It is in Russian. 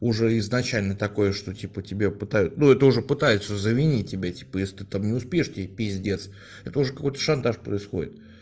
уже изначально такое что типа тебя пытают ну это уже пытается заменить тебя типа если там не успеешь тебе пиздец это уже какой то шантаж происходит